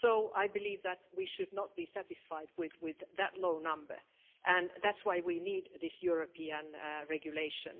I believe that we should not be satisfied with that low number, and that's why we need this European regulation.